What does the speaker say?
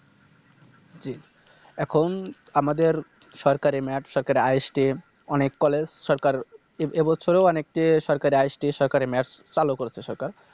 জি এখন আমাদের সরকারি Math সরকারি History অনেক College সরকার এ~ এবছরও অনেকটি সরকারি History সরকারি Maths চালু করছে সরকার